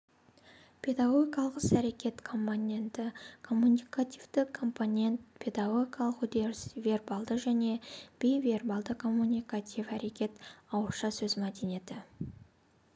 педагогикалық ісәрекет компоненті коммуникативті компонент педагогикалық үдеріс вербалды және бейвербалды коммуникативтік әрекет ауызша сөз мәдениеті